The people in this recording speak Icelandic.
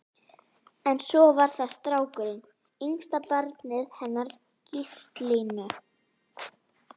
En svo var það strákurinn, yngsta barnið hennar Gíslínu.